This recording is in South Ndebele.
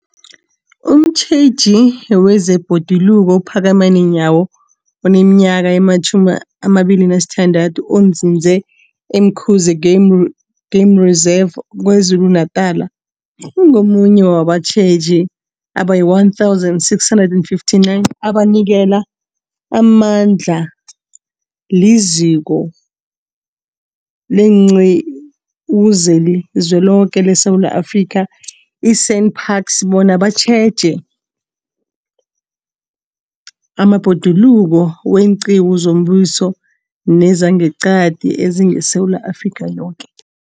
Umtjheji wezeBhoduluko uPhakamani Nyawo oneminyaka ema-26, onzinze e-Umkhuze Game R, Game Reserve KwaZulu-Natala, ungomunye wabatjheji abayi-1 659 abanikelwe amandla liZiko leenQiwu zeliZweloke leSewula Afrika, i-SANParks, bona batjheje amabhoduluko weenqiwu zombuso nezangeqadi ezingeSewula Afrika yoke.